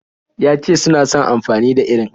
Ya ce suna son amfani da irin.